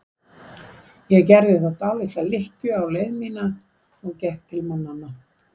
Ég gerði því dálitla lykkju á leið mína og gekk til mannanna.